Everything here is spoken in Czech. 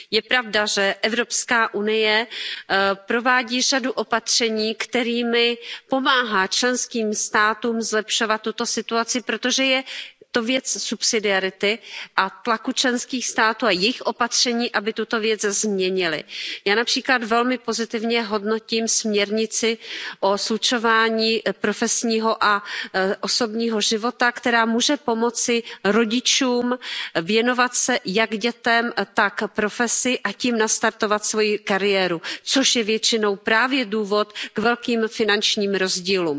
Je pravda, že Evropská unie provádí řadu opatření, kterými pomáhá členským státům zlepšovat tuto situaci, protože je to věc subsidiarity a tlaku členských států a jejich opatření, aby tuto věc změnily. Já například velmi pozitivně hodnotím směrnici o slučování profesního a osobního života, která může pomoci rodičům věnovat se jak dětem, tak profesi, a tím nastartovat svoji kariéru, což je většinou právě důvod k velkým finančním rozdílům.